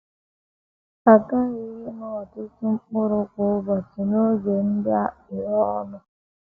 A ghaghị ịṅụ ọtụtụ mkpụrụ kwa ụbọchị, n’oge ndị a kapịrị ọnụ.